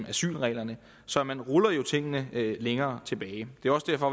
asylreglerne så man ruller jo tingene længere tilbage det er også derfor